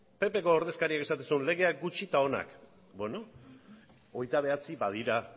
ppko ordezkariak esaten zuela lege gutxi eta onak beno hogeita bederatzi badira